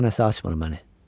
Bura nəsə açmır mənə.